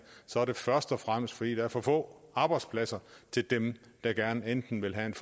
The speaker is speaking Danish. så er det først og fremmest fordi der er for få arbejdspladser til dem der gerne enten vil have